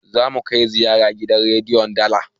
zamu kai ziyara gidan rediyon dala